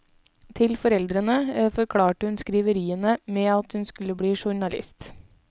Til foreldrene forklarte hun skriveriene med at hun skulle bli journalist.